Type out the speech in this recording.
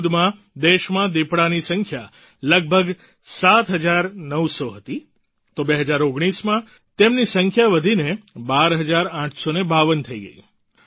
2014માં દેશમાં દિપડાની સંખ્યા લગભગ 7900 હતી તો 2019માં તેમની સંખ્યા વધીને 12852 થઈ ગઈ છે